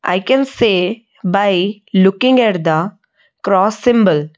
i can say by looking at the cross symbol.